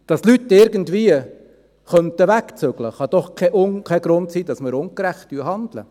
Dass Leute irgendwie wegziehen könnten, kann doch kein Grund sein, dass wir ungerecht handeln.